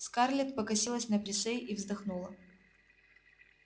скарлетт покосилась на присей и вздохнула